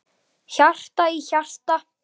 Hjarta í hjarta.